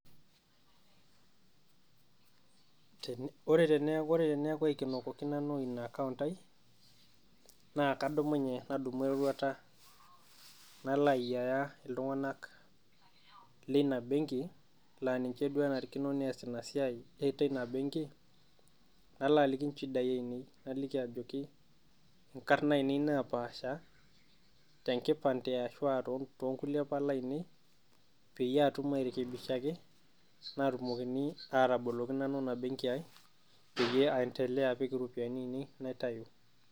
Ore tene neeku aikenokoki Nanu Ina akaont aii naa kadumunye nadumu eroruata nalo ayiaya iltung'anak leina benki naa ninche duo enaarikino neas Ina siai teina benki nalo aliki inchidai ainei naliki ajoki, inkarr ainei napaasha tenkipante arashu too nkulie Pala ainei peyie aatum airekebishaki naatumokini aatoboloki Nanu Ina ebenki aii peyie aendelea apik iropiyiani ainei naitau.